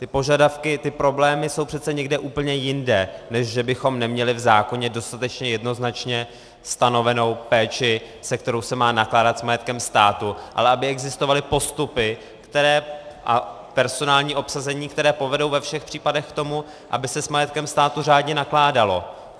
Ty požadavky, ty problémy jsou přece někde úplně jinde, než že bychom neměli v zákoně dostatečně jednoznačně stanovenou péči, se kterou se má nakládat s majetkem státu, ale aby existovaly postupy a personální obsazení, které povedou ve všech případech k tomu, aby se s majetkem státu řádně nakládalo.